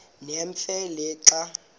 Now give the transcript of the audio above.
nemfe le xa